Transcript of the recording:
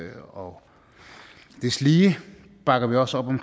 og deslige bakker vi også op om